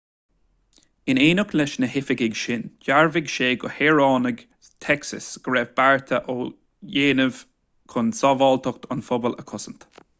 in éineacht leis na hoifigigh sin dhearbhaigh sé do shaoránaigh texas go raibh bearta á ndéanamh chun sábháilteacht an phobail a chosaint